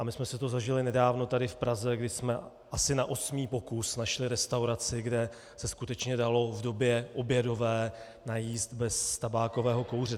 A my jsme si to zažili nedávno tady v Praze, kdy jsme asi na osmý pokus našli restauraci, kde se skutečně dalo v době obědové najíst bez tabákového kouře.